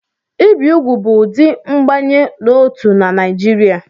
Ibi úgwù bụ ụdị mbanye n'otu na Naịjirịa